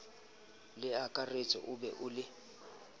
leakaretsi o be o le